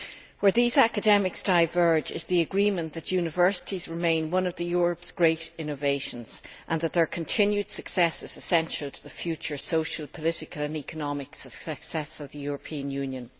Where these academics converge is in the agreement that universities remain one of Europe's great innovations and that their continued success is essential to the future social, political and economic success of the European Union.